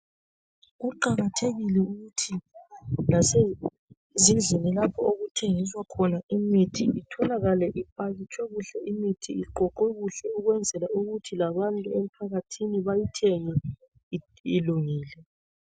Kuqakathekile ukuthi lasezindlini lapho okuthengiswa khona imithi itholakale ipakitshwe kuhle imithi iqoqwe kuhle ukwenzela ukuthi labanye emphakathini bayithenge ilungile .